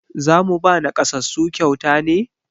Za mu ba naƙasassu kyauta ne?